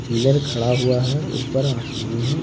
Pillar खड़ा हुआ है ऊपर आसमान है।